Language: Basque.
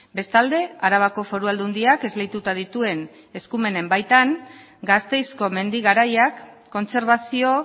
bestalde arabako foru aldundiak esleituta dituen eskumenen baitan gasteizko mendi garaiak kontserbazio